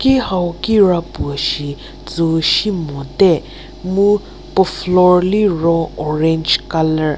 ki hau kira puo shi tsüu simo te mu puo floor liro orange colour .